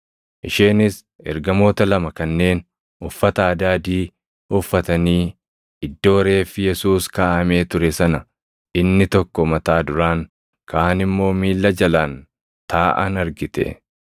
isheenis ergamoota lama kanneen uffata adaadii uffatanii iddoo reeffi Yesuus kaaʼamee ture sana, inni tokko mataa duraan, kaan immoo miilla jalaan taaʼan argite.